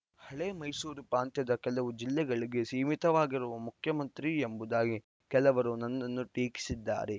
ಹಳೆಯ ಮೈಸೂರು ಪ್ರಾಂತ್ಯದ ಕೆಲವು ಜಿಲ್ಲೆಗಳಿಗೆ ಸೀಮಿತವಾಗಿರುವ ಮುಖ್ಯಮಂತ್ರಿ ಎಂಬುದಾಗಿ ಕೆಲವರು ನನ್ನನ್ನು ಟೀಕಿಸಿದ್ದಾರೆ